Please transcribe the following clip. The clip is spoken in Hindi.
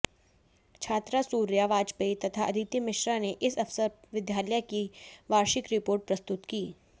छात्रा सूर्या वाजपेयी तथा अदिति मिश्रा ने इस अवसर विद्यालय की वार्षिक रिपोर्ट प्रस्तुत की